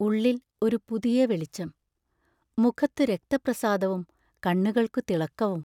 ഉള്ളിൽ ഒരു പുതിയ വെളിച്ചം; മുഖത്തു രക്തപ്രസാദവും കണ്ണുകൾക്കു തിളക്കവും.